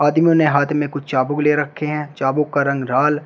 आदमियों ने हाथ में कुछ चाबुक ले रखे हैं चाबुक का रंग लाल--